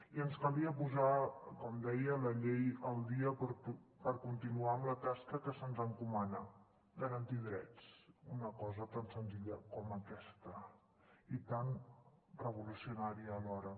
i ens calia posar com deia la llei al dia per continuar amb la tasca que se’ns encomana garantir drets una cosa tan senzilla com aquesta i tan revolucionària alhora